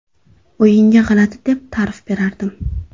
O‘yinga g‘alati deb ta’rif berardim.